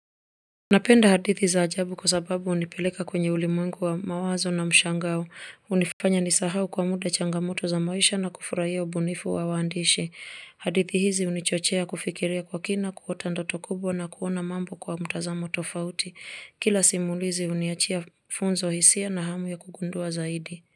Napenda hadithi za ajabu kwa sababu hunipeleka kwenye ulimwengu wa mawazo na mshangao. Hunifanya nisahau kwa muda changamoto za maisha na kufurahia ubunifu wa waandishi hadithi hizi hunichochea kufikiria kwa kina kuota ndotobkubwa na kuona mambo kwa mtazamo tofauti. Kila simulizi huniachia funzo hisia na hamu ya kugundua zaidi.